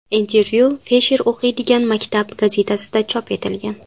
Intervyu Fisher o‘qiydigan maktab gazetasida chop etilgan.